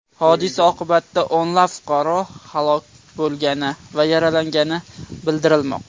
Hodisa oqibatida o‘nlab fuqaro halok bo‘lgani va yaralangani bildirilmoqda.